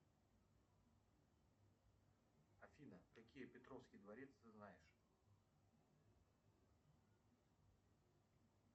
афина какие петровский дворец ты знаешь